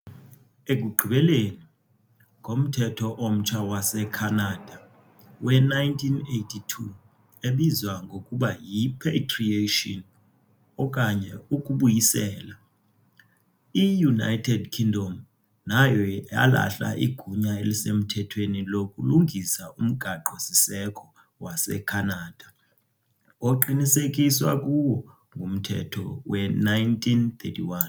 Ekugqibeleni, ngoMthetho omtsha waseKhanada we-1982, ebizwa ngokuba yi- "patriation" okanye "ukubuyisela", i- United Kingdom nayo yalahla igunya elisemthethweni lokulungisa umgaqo-siseko waseKhanada, oqinisekiswa kuwo nguMthetho we-1931.